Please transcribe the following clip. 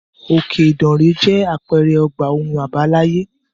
Òkè ìdànrè jẹ́ àpẹẹrẹ ọgbà ohun àbáláyé.